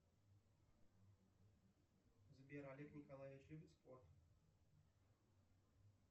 сбер олег николаевич любит спорт